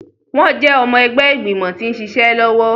Wọn jẹ ọmọ ẹgbẹ igbimọ ti nṣiṣe lọwọ